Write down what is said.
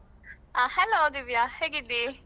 ಅಹ್ Hello Divya ಹೇಗಿದ್ದೀ?